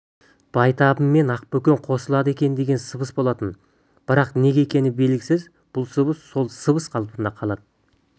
байтабын мен ақбөкен қосылады екен деген сыбыс болатын бірақ неге екені белгісіз бұл сыбыс сол сыбыс қалпында қалады